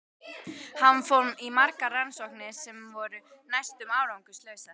Hann fór í margar rannsóknir sem voru næstum árangurslausar.